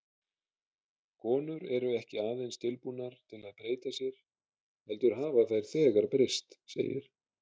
Konur eru ekki aðeins tilbúnar til að breyta sér, heldur hafa þær þegar breyst, segir